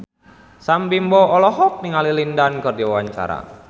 Sam Bimbo olohok ningali Lin Dan keur diwawancara